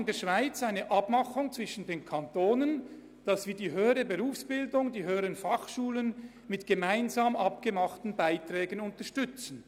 In der Schweiz besteht eine Vereinbarung zwischen den Kantonen, die höhere Berufsbildung, die HF mit gemeinsam vereinbarten Beiträgen zu unterstützen.